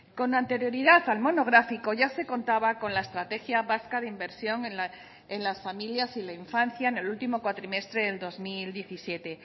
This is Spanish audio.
con anterioridad al monográfico ya se contaba con la estrategia vasca de inversión en las familias y la infancia en el último cuatrimestre del dos mil diecisiete